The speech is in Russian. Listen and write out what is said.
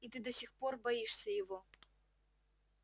и ты до сих пор боишься его